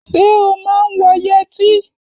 Ṣé o máa ń wọ yẹtí?